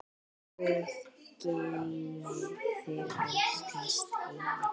Guð geymi þig, elsku Steini.